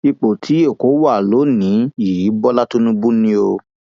ipò tí èkó wà lọnìín yìí bọlá tínúbù ni o